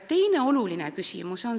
Teine oluline küsimus.